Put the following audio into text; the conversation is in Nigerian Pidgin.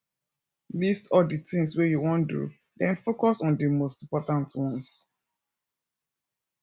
list all di things wey you wan do then focus on di most important ones